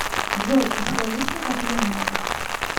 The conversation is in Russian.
джой у тебя есть накопления